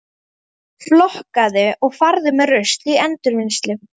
Flokkaðu og farðu með rusl í endurvinnslu.